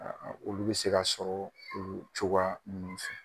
A a olu be se k'a sɔrɔ oo cogo ninnu fɛ.